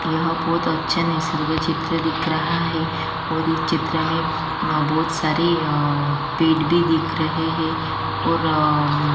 यह बहुत अच्छा नरसरी का चित्र दिख रहा है और इस चित्र में बहुत सारे अअअ पेड़ भी दिख रहै हैं और अम्म --